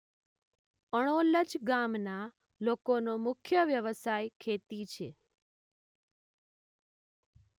અણોલજ ગામના લોકોનો મુખ્ય વ્યવસાય ખેતી છે.